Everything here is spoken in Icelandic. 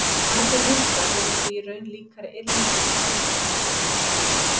Margir hundar eru því í raun líkari yrðlingum í hegðun en fullþroska úlfum.